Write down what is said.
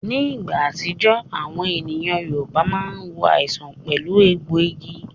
Ní ìgbà kan, àwọn ènìyàn Yorùbá máa ń wo àìsàn pẹ̀lú egbòogi